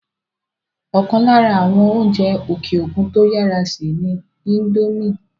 ọ̀kan lára àwọn oúnjẹ òkè òkun tó yàrá sè ni índómì